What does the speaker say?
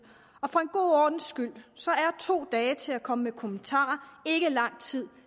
og for en god ordens skyld så er to dage til at komme med kommentarer ikke lang tid